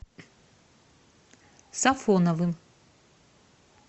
сафоновым